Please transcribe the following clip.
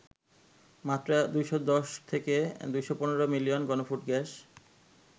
মাত্র ২১০ থেকে ২১৫ মিলিয়ন ঘনফুট গ্যাস